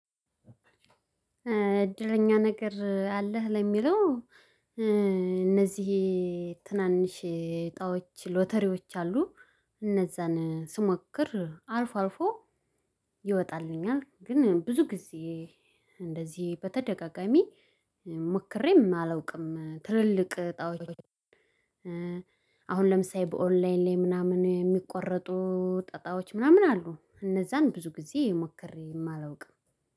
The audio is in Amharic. እድለኛ ነገር አለህ ለሚለው እነዚህ ትናንሽ እጣዎች ሎተሪዎች አሉ። እነዚያን ስሞክር አልፎ አልፎ ይወጣልኛል ግን ብዙ ጊዜ እንደዚህ በተደጋጋሚ ሞክሬም አላውቅም። ትልልቅ እጣዎች። አሁን ለምሳሌ በኦንላይን ላይ ምናምን የሚቆረጡ ጠጣዎች ምናምን አሉ እነዚያን ብዙ ጊዜ ሞክሬ አላውቅም።